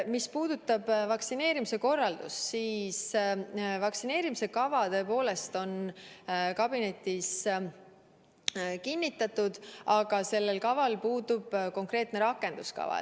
Mis puudutab vaktsineerimise korraldust, siis vaktsineerimiskava tõepoolest on kabinetis kinnitatud, aga sellel puudub konkreetne rakenduskava.